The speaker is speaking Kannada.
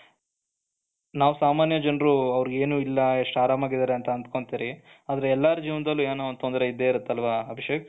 ನಾವು ಸಾಮಾನ್ಯ ಜನರು ಅವರಿಗೆ ಏನು ಇಲ್ಲ ಎಷ್ಟು ಆರಾಮಾಗಿದ್ದಾರೆ ಅಂತ ಅನ್ಕೊಂತೀವಿ ಆದರೆ ಎಲ್ಲರ ಜೀವನದಲ್ಲಿ ಏನೋ ಒಂದು ತೊಂದರೆ ಇದ್ದೇ ಇರುತ್ತೆ ಅಲ್ವಾ ಅಭಿಷೇಕ್,